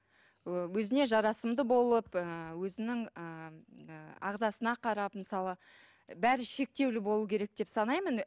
ы өзіне жарасымды болып ы өзінің ыыы ағзасына қарап мысалы бәрі шектеулі болуы керек деп санаймын